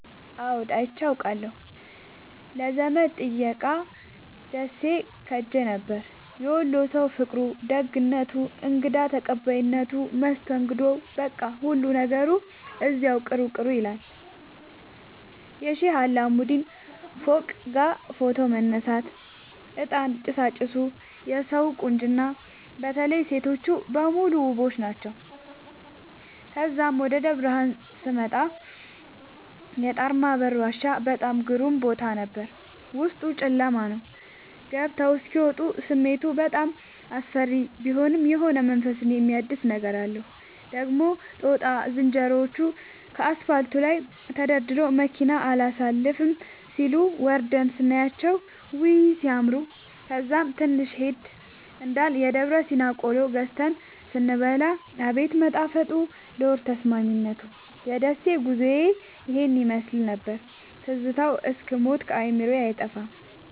አዎድ አይቼ አቃለሁ ለዘመድ ጥየቃ ደሴ ኸሄ ነበር። የወሎ ሠዉ ፍቅሩ፣ ደግነቱ፣ እንግዳ ተቀባይነቱ መስተንግዶዉ በቃ ሁሉ ነገሩ እዚያዉ ቅሩ ቅሩ ይላል። የሼህ አላሙዲን ፎቅጋ ፎቶ መነሳት፤ እጣን ጭሣጭሡ የሠዉ ቁንጅና በተለይ ሤቶቹ በሙሉ ዉቦች ናቸዉ። ተዛም ወደ ደብረብርሀን ስመጣ የጣርማበር ዋሻ በጣም ግሩም ቦታ ነበር፤ ዉስጡ ጨለማ ነዉ ገብተዉ እስኪ ወጡ ስሜቱ በጣም አስፈሪ ቢሆንም የሆነ መንፈስን የሚያድስ ነገር አለዉ። ደግሞ ጦጣ ዝንሮዎቹ ከአስፓልቱ ላይ ተደርድረዉ መኪና አላሣልፍም ሢሉ፤ ወርደን ስናያቸዉ ዉይ! ሢያምሩ። ከዛም ትንሽ ሄድ እንዳልን የደብረሲና ቆሎ ገዝተን ስንበላ አቤት መጣፈጡ ለሆድ ተስማሚነቱ። የደሴ ጉዞዬ ይህን ይመሥል ነበር። ትዝታዉ እስክ ሞት ከአዕምሮየ አይጠፋም።